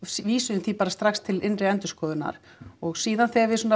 vísuðum því bara strax til innri endurskoðunar og síðan þegar við